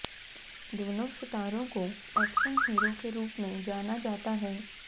दोनों सितारों को एक्शन हीरो के रूप में जाना जाता है